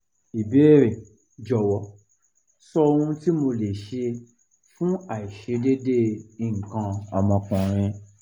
ìbéèrè: jọ̀wọ́ sọ ohun tí mo lè ṣe fún aiṣedeede ikan om okunrin